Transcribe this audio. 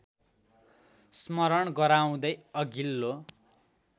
स्मरण गराउँदै अघिल्लो